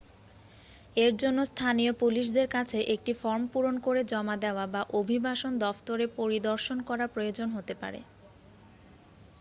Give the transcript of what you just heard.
এর জন্য স্থানীয় পুলিশদের কাছে একটি ফর্ম পূরণ করে জমা দেওয়া বা অভিবাসন দফতরে পরিদর্শন করার প্রয়োজন হতে পারে